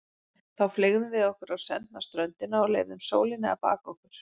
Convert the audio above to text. Þá fleygðum við okkur á sendna ströndina og leyfðum sólinni að baka okkur.